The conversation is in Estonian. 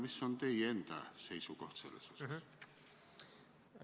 Mis on teie enda seisukoht selles osas?